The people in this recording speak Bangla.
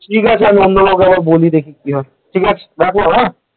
ঠিক আছে আমি অন্য কাউকে বলি দেখি কি হয় ঠিক আছে আমি রাখলাম হ্যাঁ ।